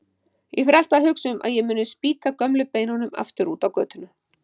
Ég fer alltaf að hugsa um að ég muni spýta gömlu beinunum aftur á götuna.